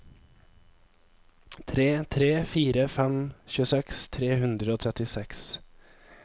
tre tre fire fem tjueseks tre hundre og trettiseks